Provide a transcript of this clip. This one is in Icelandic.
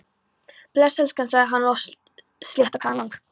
Bless, elskan sagði hann, lagði sléttrakaðan vang